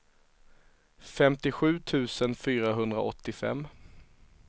femtiosju tusen fyrahundraåttiofem